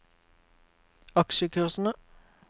aksjekursene